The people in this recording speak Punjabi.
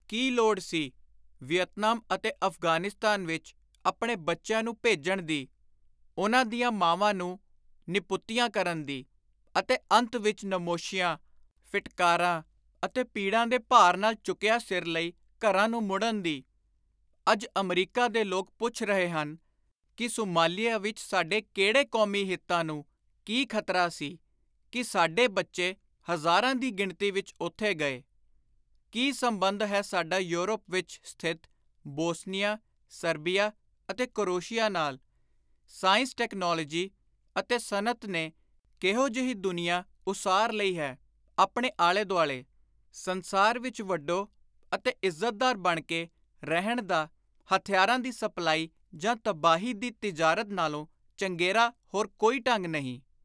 “ਕੀ ਲੋੜ ਸੀ ਵੀਅਤਨਾਮ ਅਤੇ ਅਫ਼ਗ਼ਾਨਿਸਤਾਨ ਵਿਚ ਆਪਣੇ ਬੱਚਿਆਂ ਨੂੰ ਭੇਜਣ ਦੀ; ਉਨ੍ਹਾਂ ਦੀਆਂ ਮਾਵਾਂ ਨੂੰ ਨਿਪੁੱਤੀਆਂ ਕਰਨ ਦੀ; ਅਤੇ ਅੰਤ ਵਿਚ ਨਮੋਸ਼ੀਆਂ, ਫਿਟਕਾਰਾਂ ਅਤੇ ਪੀੜਾਂ ਦੇ ਭਾਰ ਨਾਲ ਝੁਕਿਆ ਸਿਰ ਲਈ ਘਰਾਂ ਨੂੰ ਮੁੜਨ ਦੀ ?” ਅੱਜ ਅਮਰੀਕਾ ਦੇ ਲੋਕ ਪੁੱਛ ਰਹੇ ਹਨ ਕਿ “ਸੁਮਾਲੀਆ ਵਿਚ ਸਾਡੇ ਕਿਹੜੇ ਕੌਮੀ ਹਿਤਾਂ ਨੂੰ, ਕੀ ਖ਼ਤਰਾ ਸੀ ਕਿ ਸਾਡੇ ਬੱਚੇ ਹਜ਼ਾਰਾਂ ਦੀ ਗਿਣਤੀ ਵਿਚ ਉਥੇ ਗਏ ? ਕੀ ਸੰਬੰਧ ਹੈ ਸਾਡਾ ਯੂਰਪ ਵਿਚ ਸਥਿਤ ਬੋਸਨੀਆਂ, ਸਰਬੀਆ ਅਤੇ ਕੋਰੇਸ਼ੀਆ ਨਾਲ ? ਸਾਇੰਸ, ਟੈਕਨਾਲੋਜੀ ਅਤੇ ਸਨਅਤ ਨੇ ਕਿਹੋ ਜਿਹੀ ਦੁਨੀਆਂ ਉਸਾਰ ਲਈ ਹੈ ਆਪਣੇ ਆਲੇ-ਦੁਆਲੇ ? ਸੰਸਾਰ ਵਿਚ ਵੱਡੋ ਅਤੇ ਇੱਜ਼ਤਦਾਰ ਬਣ ਕੇ ਰਹਿਣ ਦਾ ਹਥਿਆਰਾਂ ਦੀ ਸਪਲਾਈ ਜਾਂ ਤਬਾਹੀ ਦੀ ਤਿਜਾਰਤ ਨਾਲੋਂ ਚੰਗੇਰਾ ਹੋਰ ਕੋਈ ਢੰਗ ਨਹੀਂ ?